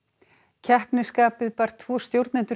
keppnisskapið bar tvo stjórnendur